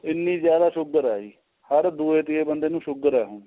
ਇੰਨੀ ਜਿਆਦਾ sugar ਏ ਜੀ ਹਰ ਦੂਜੇ ਤੀਜੇ ਬੰਦੇ ਨੂੰ sugar ਏ ਹੁਣ